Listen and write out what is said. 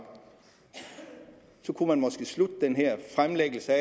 så kunne man måske slutte den her fremlæggelse